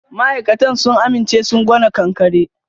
Ma'aikatan sun aminche sun gwana ƙanƙare.